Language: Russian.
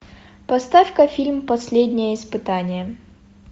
поставь ка фильм последнее испытание